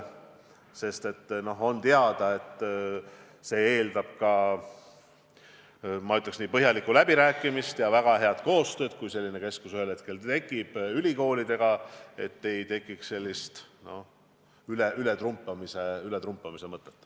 Kui selline keskus ühel hetkel tekib, siis see eeldab põhjalikku läbirääkimist ja väga head koostööd ülikoolidega, et ei tekiks mingit ületrumpamise mõtet.